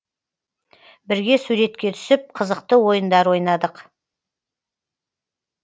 бірге суретке түсіп қызықты ойындар ойнадық